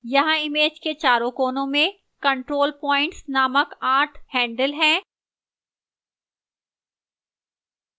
यहां image के चारों कोनों में control points named आठ handles हैं